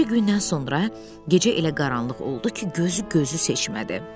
Bir neçə gündən sonra gecə elə qaranlıq oldu ki, gözü gözü seçmədi.